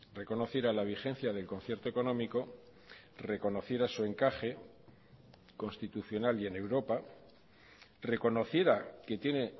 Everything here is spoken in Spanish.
reconociera la vigencia del concierto económico reconociera su encaje constitucional y en europa reconociera que tiene